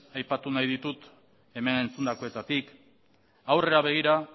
aipatu nahi ditut hemen entzundakoetatik aurrera begira